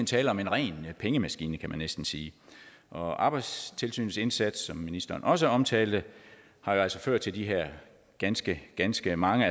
tale om en ren pengemaskine kan man næsten sige og arbejdstilsynets indsats som ministeren også omtalte har jo altså ført til de her ganske ganske mange